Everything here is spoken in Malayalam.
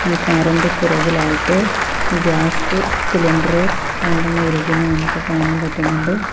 ഈ കാർ ഇന്റെ പുറകിലായിട്ട് ഗ്യാസ് സിലിണ്ടറ് രണ്ടെണ്ണം ഇരിക്കുന്നത് നമുക്ക് കാണാൻ പറ്റുന്നുണ്ട്.